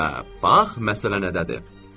Hə, bax məsələ nədədir?